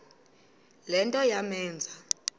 le nto yamenza